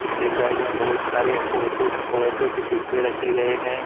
इसके साइड में बहुत सारे ओटो अयोटो के डिब्बे रखे गए हैं।